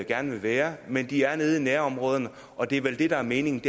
gerne vil være men de er nede i nærområderne og det er vel det der er meningen